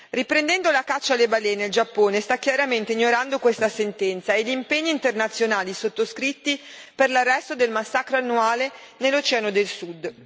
Riprendendo la caccia alle balene, il Giappone sta chiaramente ignorando questa sentenza e gli impegni internazionali sottoscritti per l'arresto del massacro annuale nell'oceano del Sud.